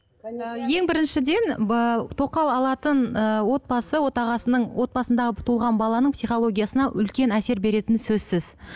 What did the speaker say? ең біріншіден тоқал алатын ыыы отбасы отағасының отбасындағы туылған баланың психологиясына үлкен әсер беретіні сөзсіз